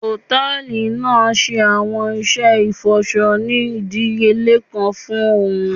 Hòtẹ́ẹ̀lì naa ṣe awọn iṣẹ ifọṣọ ni idiyele kan fún óún